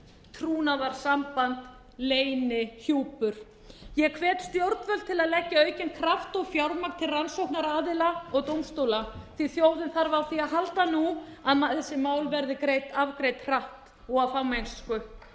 trúnaðarsamband leynihjúpur ég hvet stjórnvöld til að leggja aukinn kraft og fjármagn til rannsóknaraðila og dómstóla því þjóðin þarf á því að halda nú að þessi mál verði afgreidd hratt og af fagmennsku